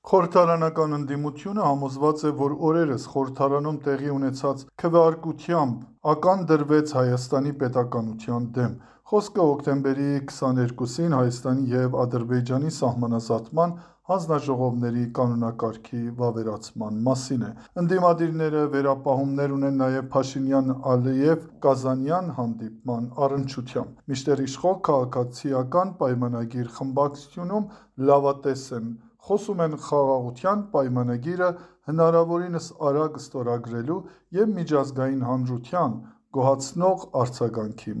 Խորհրդարանական ընդդիմությունը համոզված է, որ օրերս խորհրդարանում տեղի ունեցած քվեարկությամբ ական դրվեց Հայաստանի պետականության դեմ։ Խոսքը հոկտեմբերի 22–ին Հայաստանի և Ադրբեջանի սահմանազատման հանձնաժողովների կակոնակարգի վավերացման մասին է։ Ընդդիմադիրները վերապահումներ ունեն նաև Փաշինյան–Ալիև կազանյան հանդիպման առնչությամբ։ Մինչդեռ իշխող «Քաղաքացիական պայմանագիր» խմբակցությունում լավատես են, խոսում են «Խաղաղության պայմանագիրը» հնարավորինս արագ ստորագրելու և միջազգային հանրության՝ գոհացնող արձագանքի